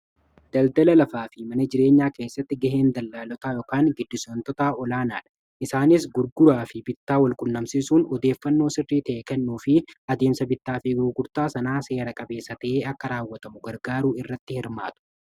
Daldala lafaa fi mana jireenyaa keessatti gaheen dallaaltotaa fi gidduugaleessotaa olaanaa dha. Isaanis gurgurtaa fi bittaa walqunnamsisuun odeeffannoo sirrii ta'e kennuu fi adeemsa bittaa fi gugurtaa sanaa seera-qabeessa ta'ee akka raawwatamu gargaaruu irratti hirmaatu.